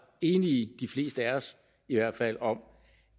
enige de fleste af os i hvert fald om